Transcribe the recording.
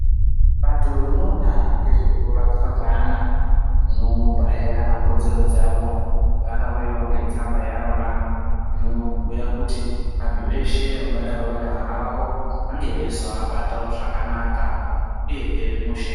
Bato rinoona ngezvekurapwa kweana rinopahe ana kodzero dzavo. Rakauyavo netsamba yarona inobhuya kuti antu eshe angadaro vari vana vavo vange veizovabatavo zvakanaka, uyehe mushe.